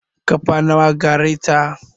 Ƙafa nawa gareta?